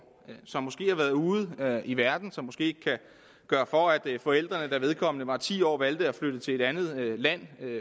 som måske har været ude i verden som måske ikke kan gøre for at forældrene da vedkommende var ti år valgte at flytte til et andet land